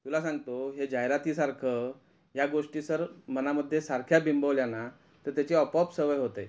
तुला सांगतो हे जाहिराती सारखं ह्या गोष्टी सर मनामध्ये सारख्या बिंबवल्या ना तर त्याची आपोआप सवय होते.